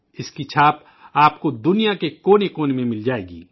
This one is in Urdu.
اس کی چھاپ آپ کو دنیا کے کونے کونے میں مل جائے گی